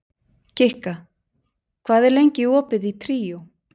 Kikka, hvað er lengi opið í Tríó?